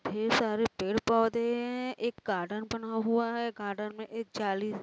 ढेर सारे पेड़- पौधे हैं| एक गार्डन बना हुआ है| गार्डन में --